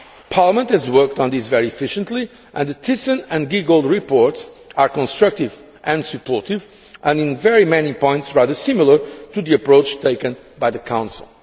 Parliament has worked on this very efficiently and the Thyssen and Giegold reports are constructive and supportive, and in very many points rather similar to the approach taken by the Council.